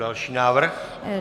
Další návrh?